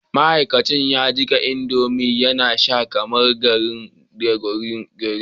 ma'aikacin ya jika indomie yana sha kamar garri a gurin ginin